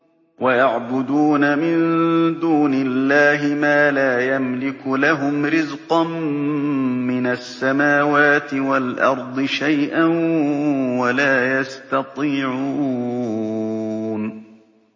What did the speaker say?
وَيَعْبُدُونَ مِن دُونِ اللَّهِ مَا لَا يَمْلِكُ لَهُمْ رِزْقًا مِّنَ السَّمَاوَاتِ وَالْأَرْضِ شَيْئًا وَلَا يَسْتَطِيعُونَ